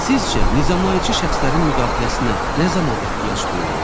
Sizcə nizamlayıcı şəxslərin müdaxiləsinə nə zaman ehtiyac duyulur?